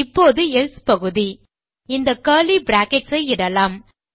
இப்போது எல்சே பகுதி இந்த கர்லி பிராக்கெட்ஸ் ஐ இடலாம்